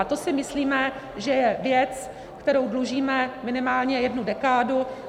A to si myslíme, že je věc, kterou dlužíme minimálně jednu dekádu.